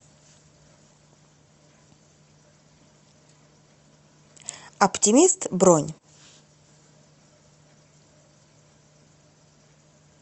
оптимист бронь